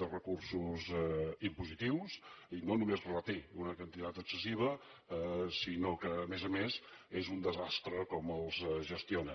de recursos impositius i no només reté una quantitat excessiva sinó que a més a més és un desastre com els gestiona